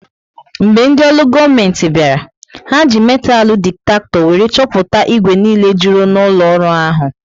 Mgbe ndị olu goomenti bịara, ha ji metalu diktakto wéré chọpụta igwe niile jụrụ n'ụlọ ọrụ ahụ